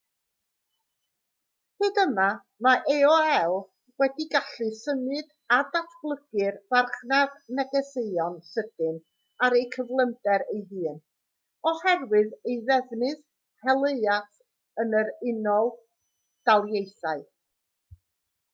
hyd yma mae aol wedi gallu symud a datblygu'r farchnad negeseuon sydyn ar ei gyflymder ei hun oherwydd ei ddefnydd helaeth yn yr unol daleithiau